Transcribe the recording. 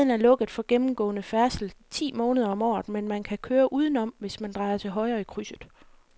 Gaden er lukket for gennemgående færdsel ti måneder om året, men man kan køre udenom, hvis man drejer til højre i krydset.